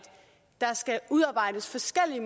der skal udarbejdes forskellige